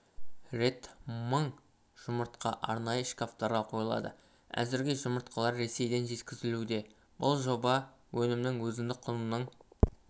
рет мың жұмыртқа арнайы шкафтарға қойылады әзірге жұмыртқалар ресейден жеткізілуде бұл жоба өнімнің өзіндік құнынын